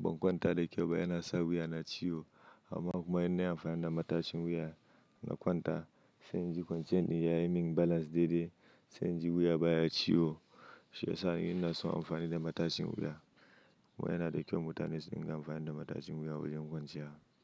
ban kwanta da kyau ba, yana sa wuya na ciwo. Amma kuma in nayi amfani da matashin wuya na kwanta, sai in ji kwanciyan din yayi min balance daidai, sai in ji wuya baya ciwo. Shiyasa ina so in yi amfani da matashin wuya. Kuma yana da kyau mutane su dinga amfani da matashin wuya wajen kwanciya.